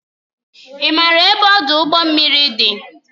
Ị maara ebe ọdụ ụgbọ mmiri dị?